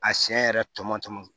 A siɲɛ yɛrɛ tɔmɔ tɔmɔ